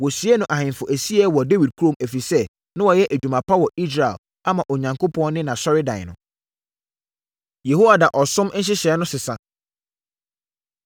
Wɔsiee no ahemfo asieeɛ wɔ Dawid kurom, ɛfiri sɛ, na wayɛ adwuma pa wɔ Israel, ama Onyankopɔn ne nʼAsɔredan no. Yehoiada Ɔsom Nhyehyɛeɛ No Sesa